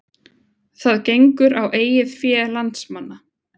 Það gengur á eigið fé landsmanna